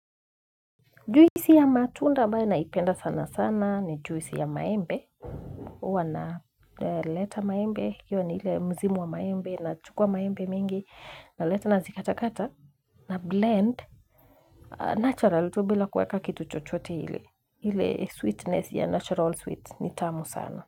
Juisi ya matunda ambayo naipenda sana sana ni juisi ya maembe. Uwa naleta maembe. Iyo ni ile msimu wa maembe nachukua maembe mingi. Naleta nazikata kata. Na blend. Natural to bila kuweka kitu chochote ile. Ile sweetness ya natural sweet. Ni tamu sana.